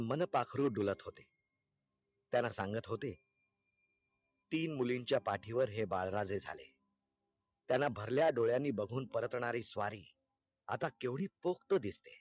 मनपाखरू डूलत होते त्याना सांगत होते तीन मुलींचा पाटीवर हे बाळराजे झाले त्याना भरल्या डोळ्याने बघून परतणारी स्वारी आता केवढी पोक्त दिसते